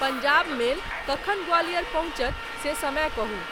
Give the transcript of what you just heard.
Punjab mail कखन ग्वालियर पहुँचत से समय कहू